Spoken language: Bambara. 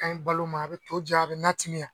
A ka ɲi balo ma, a bɛ to diya, a bɛ na timiya.